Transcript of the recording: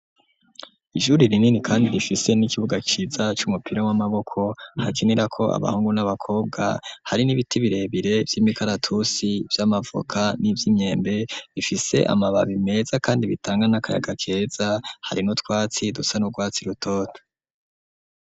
Ishuri rinini kandi rifise n'ikibuga ciza c'umupira w'amaboko hakenerwa ko abahungu n'abakobwa hari n'ibiti birebire vy'imikaratusi vy'amavoka n'ivyimyembe rifise amababi meza kandi bitanga n'akayaga keza hari nu twatsi dusa n'urwatsi rutoto.